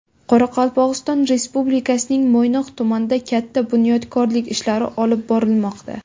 Qoraqalpog‘iston Respublikasining Mo‘ynoq tumanida katta bunyodkorlik ishlari olib borilmoqda.